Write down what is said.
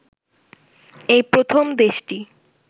এই প্রথম দেশটি